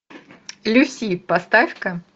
люси поставька